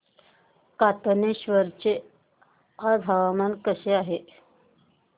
कातनेश्वर चे आज हवामान कसे आहे